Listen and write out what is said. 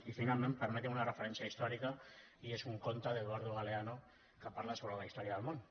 i finalment permetin me una referència històrica i és un conte d’eduardo galeano que parla sobre la història del món